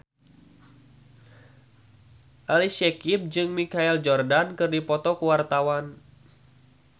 Ali Syakieb jeung Michael Jordan keur dipoto ku wartawan